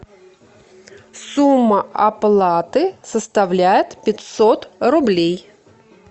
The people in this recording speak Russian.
сумма оплаты составляет пятьсот рублей